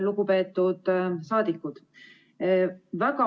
Lugupeetud saadikud!